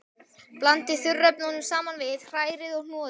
Blandið þurrefnunum saman við, hrærið og hnoðið.